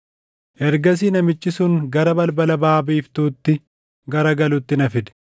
Ergasii namichi sun gara balbala baʼa biiftuutti garagaluutti na fide;